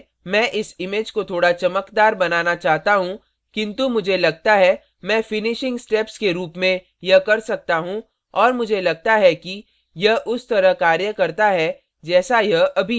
सबसे पहले मैं इस image को थोड़ा चमकदार बनाना चाहता हूँ किन्तु मुझे लगता है मैं finishing steps के रूप में यह कर सकता हूँ और मुझे लगता है कि यह उस तरह कार्य करता है जैसा यह अभी है